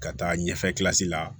Ka taa ɲɛfɛ la